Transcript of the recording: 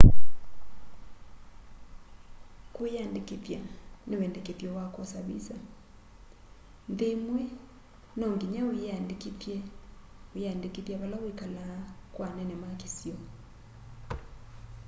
kwĩyandĩkĩthya nĩ wendekethyo wa kwosa vĩsa nthĩ ĩmwe nongĩnya wĩyĩandĩkĩthye wĩyandĩkĩthya vala wĩkalaa kwa anene ma kĩsio